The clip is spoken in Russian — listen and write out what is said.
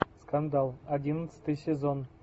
скандал одиннадцатый сезон